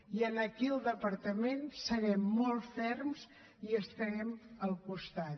i aquí al departament serem molt ferms i estarem al costat